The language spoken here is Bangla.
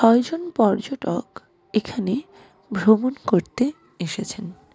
কয়েকজন পর্যটক এখানে ভ্রমণ করতে এসেছেন।